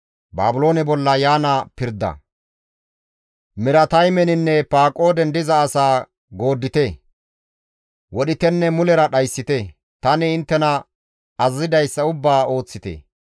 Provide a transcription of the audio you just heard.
«Mirataymeninne Paqooden diza asaa gooddite; wodhitenne mulera dhayssite; tani inttena azazidayssa ubbaa ooththite.